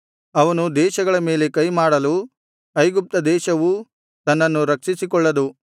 ಅವನು ದೇಶಗಳ ಮೇಲೆ ಕೈಮಾಡಲು ಐಗುಪ್ತ ದೇಶವೂ ತನ್ನನ್ನು ರಕ್ಷಿಸಿಕೊಳ್ಳದು